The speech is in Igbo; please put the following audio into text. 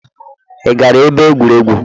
Ị gara ebe egwuregwu?.